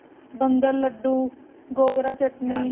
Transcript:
ਬੰਦਾਂਮਾਰ੍ਦੁ ਗੋਗ੍ਰਾ ਚਟਨੀ